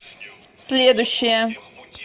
следующая